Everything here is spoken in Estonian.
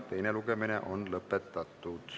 Teine lugemine on lõpetatud.